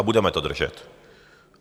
A budeme to držet.